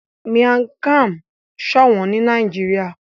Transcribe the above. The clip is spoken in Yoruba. Miang Kham sọ òwòn ni Nàìjíríà